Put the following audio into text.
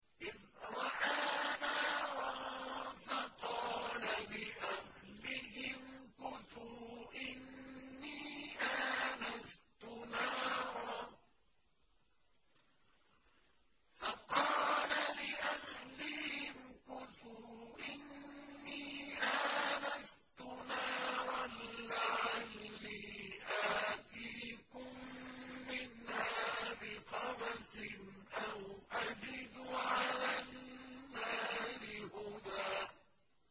إِذْ رَأَىٰ نَارًا فَقَالَ لِأَهْلِهِ امْكُثُوا إِنِّي آنَسْتُ نَارًا لَّعَلِّي آتِيكُم مِّنْهَا بِقَبَسٍ أَوْ أَجِدُ عَلَى النَّارِ هُدًى